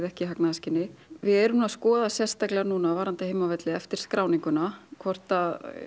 ekki í hagnaðarskyni við erum að skoða sérstaklega núna varðandi heimavelli eftir skráninguna hvort